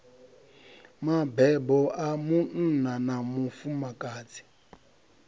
mabebo a munna na mufumakadzi